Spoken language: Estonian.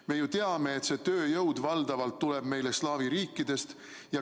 Me ju teame, et see tööjõud tuleb meile valdavalt slaavi riikidest.